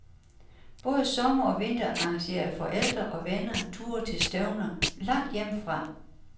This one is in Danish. Både sommer og vinter arrangerede forældre og venner ture til stævner langt hjemmefra.